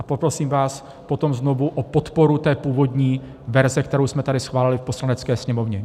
A poprosím vás potom znovu o podporu té původní verze, kterou jsme tady schválili v Poslanecké sněmovně.